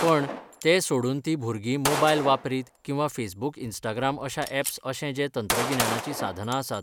पण, तें सोडून तीं भुरगीं मोबायल वापरीत किंवा फेसबुक इन्स्टाग्राम अश्या ऍप्स अशें जें तंत्रगिन्यानाची साधनां आसात